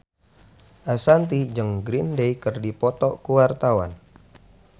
Ashanti jeung Green Day keur dipoto ku wartawan